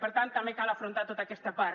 per tant també cal afrontar tota aquesta part